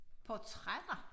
Portrætter